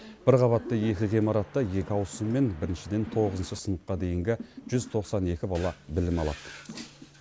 бір қабатты екі ғимаратта екі ауысыммен біріншіден тоғызыншы сыныпқа дейінгі жүз тоқсан екі бала білім алады